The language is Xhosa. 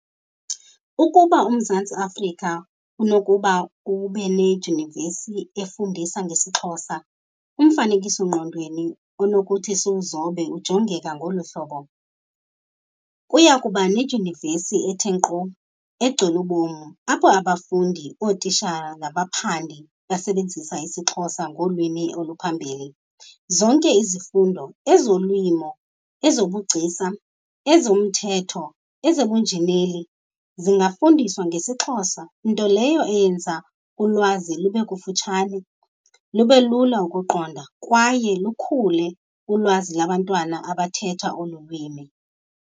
Ukuba uMzantsi Afrika unokuba ubinedyunivesi efundisa ngesiXhosa, umfanekiso ngqondweni onokuthi siwuzobe ujongeka ngolu hlobo. Kuya kuba nedyunivesi ethe nkqo, egcwele ubom apho abafundi, ootitshara nabaphandi basebenzisa isiXhosa ngolwimi oluphambili. Zonke izifundo, ezolimo, ezobugcisa, ezomthetho, ezobunjineli zingafundiswa ngesiXhosa, nto leyo eyenza ulwazi lube kufutshane, lube lula ukuqonda kwaye lukhule ulwazi labantwana abathetha olu lwimi.